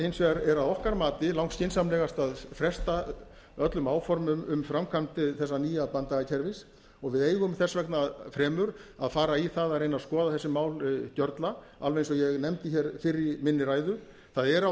hins vegar að okkar mati langskynsamlegast að fresta öllum áformum um framkvæmd þessa nýja banndagakerfis og við eigum þess vegna fremur að fara í það að reyna að skoða þessi mál gjörla alveg eins og ég nefndi hér fyrr í minni ræðu það eru á